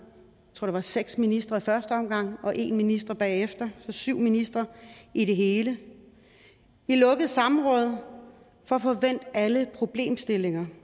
tror jeg end seks ministre i første omgang og en minister bagefter altså syv ministre i det hele i lukket samråd for at få vendt alle problemstillinger